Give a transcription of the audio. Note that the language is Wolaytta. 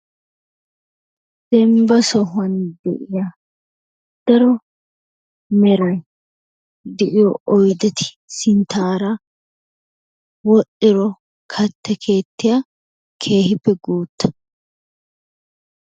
Dembba sohuwan de'iya daro meray de'iyo oydetti sintaara wodhdhiro katta keettiya keehippe guutta.